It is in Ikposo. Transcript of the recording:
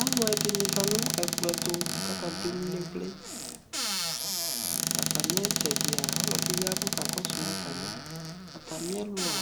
Aalʋɛɖi zati nʋ ɛkplɔɛtʋ k'aka ɖʋemu nʋ ivliAtami itsɛɖia ɔlɔɖi ya k'ɔkakɔsʋma samiAtamiɛlʋa